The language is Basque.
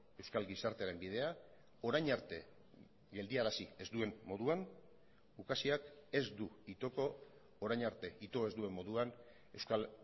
euskal gizartearen bidea orain arte geldiarazi ez duen moduan ukazioak ez du itoko orain arte ito ez duen moduan euskal